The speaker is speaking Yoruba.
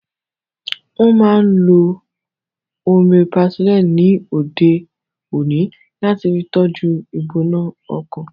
Wọ́n máa n lo Omeprazole ni òde òní láti fi tọ́jú u ìgbóná ọkàn